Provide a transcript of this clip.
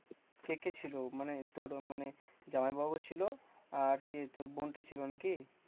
কে কে ছিল? মানে তোর মানে জামাইবাবু ছিল, আর কে তোর বোনটা ছিল নাকি?